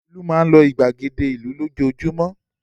Olú máa ń lọ ìgbàgede ìlú lójoojúmọ́.